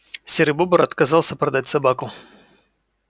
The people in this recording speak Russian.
серый бобр отказался продать собаку